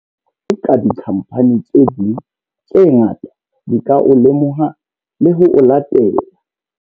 Pontsho ena e bonahalang ya boahi bo botle ba kgwebo e romela molaetsa o hlakileng le ho ba motle wa hore re lakatsa eka dikhamphani tse ding tse ngata di ka o lemoha le ho o latela.